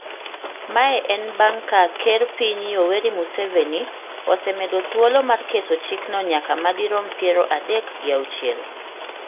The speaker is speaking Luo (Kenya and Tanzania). Mae en bang' ka ker piny Yoweri Museveni osemedo thuolo mar keto chikno nyaka madirom piero adek gi auchiel